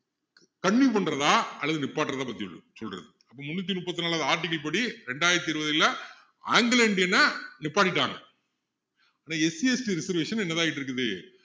continue பண்றதா அல்லது நிப்பாட்டுறதா பத்தி சொல்லு சொல்றது அப்போ முந்நூத்தி முப்பத்தி நாலாவது article படி இரண்டாயிரத்து இருபதுல anglo indian அ நிப்பாட்டிட்டாங்க ஆனா SCST reservation என்னதா ஆகிக்கிட்டு இருக்குது